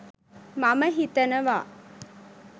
මම හිතනවා